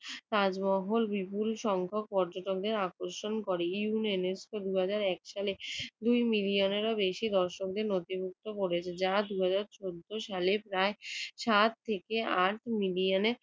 তাজমহল বিপুল সংখ্যক পর্যটকদের আকর্ষণ করে। ইউনে~ নেস্কো দুই হাজার এক সালে দুই মিলিয়ানেরও বেশি দর্শকদের নথিভুক্ত করেছে। যাহা দুই হাজার চৌদ্দ সালে প্রায় সাত থেকে আট মিলিয়নে